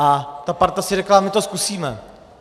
A ta parta si řekla: My to zkusíme.